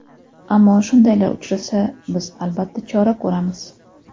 Ammo shundaylar uchrasa, biz, albatta, chora ko‘ramiz.